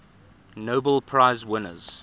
nobel prize winners